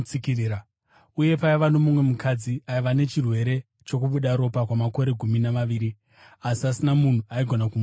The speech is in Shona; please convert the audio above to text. Uye paiva nomumwe mukadzi aiva nechirwere chokubuda ropa kwamakore gumi namaviri, asi kusina munhu aigona kumuporesa.